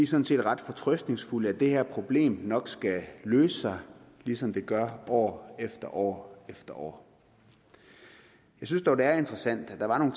sådan set ret fortrøstningsfulde at det her problem nok skal løse sig ligesom det gør år efter år efter år jeg synes dog det er interessant at der var nogle